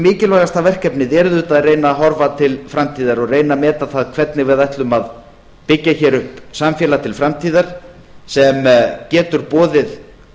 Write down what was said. mikilvægasta verkefnið er auðvitað að reyna að horfa til framtíðar og reyna að meta það hvernig við ætlum að byggja hér upp samfélag til framtíðar sem getur boðið